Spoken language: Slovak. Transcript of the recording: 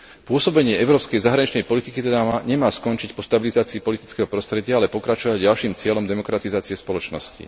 Pôsobenie európskej zahraničnej politiky teda nemá skončiť po stabilizácii politického prostredia, ale pokračovať ďalším cieľom demokratizácie spoločnosti.